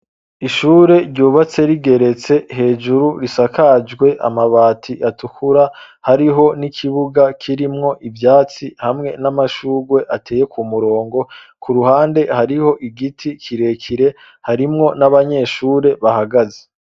Ishure ryubatse, rigeretse hejuru risakajwe amabati atukura, hariho n'ikibuga kirimwo ivyatsi,, hamwe n'amashugwe ateye ku murongo ,ku ruhande hariho igiti kirekire harimwo n'abanyeshure bahagaze.